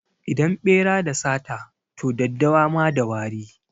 Idan ɓera da sata, to daddawa ma da wari.